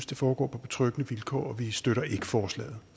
det foregår på betryggende vilkår og vi støtter ikke forslaget